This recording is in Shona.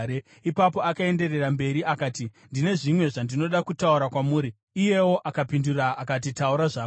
Ipapo akaenderera mberi akati, “Ndine zvimwe zvandinoda kutaura kwamuri.” Iyewo akapindura akati, “Taura zvako.”